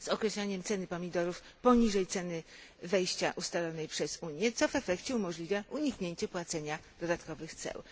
z określaniem ceny pomidorów poniżej ceny wejścia ustalonej przez Unię, co w efekcie umożliwia uniknięcie płacenia dodatkowych ceł.